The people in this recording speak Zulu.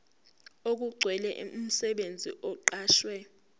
okugcwele umsebenzi oqashwe